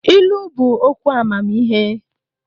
Ilu bụ okwu amamihe.